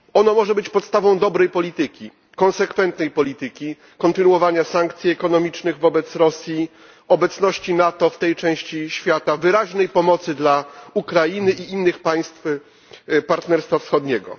Może ono być podstawą dobrej polityki, konsekwentnej polityki, kontynuowania sankcji ekonomicznych wobec Rosji, obecności NATO w tej części świata, wyraźnej pomocy dla Ukrainy i innych państw Partnerstwa Wschodniego.